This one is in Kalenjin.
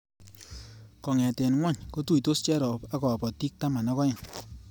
Kongete ngony kotuitos cherop ak kabatik taman ak aeng